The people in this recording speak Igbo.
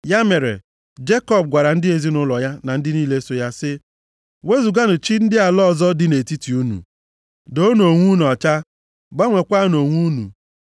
Ya mere, Jekọb gwara ndị ezinaụlọ ya na ndị niile so ya sị, “Wezuganụ chi ndị ala ọzọ dị nʼetiti unu. Doonụ onwe unu ọcha, gbanweekwanụ uwe unu.